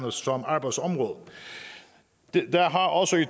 som arbejdsområde der har også